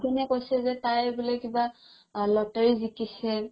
দি কিনে কৈছে যে তাই বোলে কিবা lottery জিকিছে